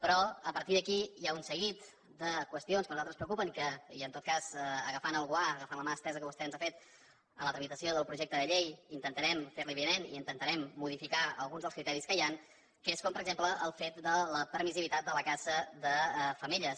però a partir d’aquí hi ha un seguit de qüestions que a nosaltres ens preocupen i en tot cas agafant el guant agafant la mà estesa que vostè ens ha fet en la tramitació del projecte de llei intentarem fer li avinent i intentarem modificar alguns dels criteris que hi han com per exemple el fet de la permissivitat de la caça de femelles